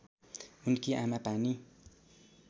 उनकी आमा पानी